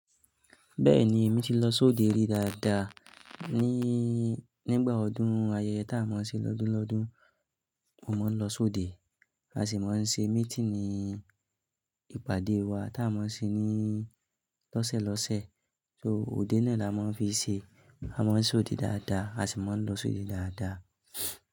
Bẹ́ẹ̀ni, èmi ti lọ sóde rí dáadáa. Ní-nígbà ọdún, ayẹyẹ tá a mọ ṣe lọ́dún lọ́dún, mo máa ń lọ sóde. A sì máa ń ṣe meeting ní ìpàdé wa tá a mọ ṣe ní lọ́sẹ̀ lọ́sẹ̀. So òde náà là máa ń fi ṣe. A máa ń sóde dáadáa, a sì máa ń lọ sóde dáadáa.